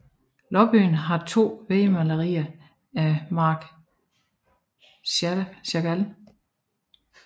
Lobbyen har to vægmalerier af Marc Chagall